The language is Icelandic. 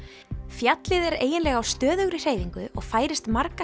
fjallið er eiginlega á stöðugri hreyfingu og færist marga